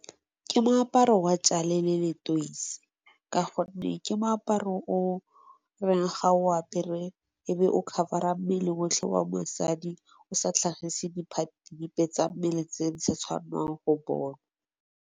Ke moaparo wa tjale le letoisi, ka gonne ke moaparo o reng ga o apere e be o cover-a mmele otlhe wa mosadi o sa tlhagise di phate dipe tsa mmele tse di sa tshwanang go bonwa.